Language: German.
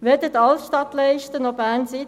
Weder die Altstadtleiste noch BernCity noch